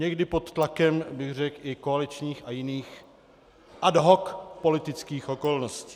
Někdy pod tlakem, bych řekl, i koaličních a jiných ad hoc politických okolností.